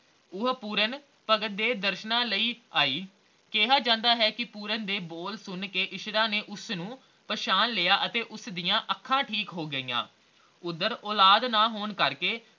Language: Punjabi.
ਉਹ ਪੂਰਨ ਭਗਤ ਦੇ ਦਰਸ਼ਨਾਂ ਲਈ ਆਈ ਕਿਹਾ ਜਾਂਦਾ ਹੈ ਕੇ ਪੂਰਨ ਦੇ ਬੋਲ ਸੁਣ ਕੇ ਇੱਛਰਾਂ ਨੇ ਉਸਨੂੰ ਪਹਿਚਾਣ ਲਿਆ ਅਤੇ ਉਸਦੀਆਂ ਅੱਖਾਂ ਠੀਕ ਹੋ ਗਈਆ, ਓਧਰ ਔਲਾਦ ਨਾ ਹੋਣ ਕਰਕੇ